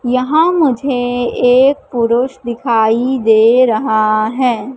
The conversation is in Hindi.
यहां मुझे एक पुरुष दिखाई दे रहा है।